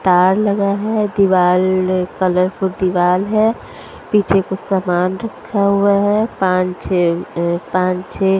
तार लगा है दीवार अ कलरफुल दीवार है पीछे कुछ सामान रखा हुआ है। पांच छे अ पांच छे --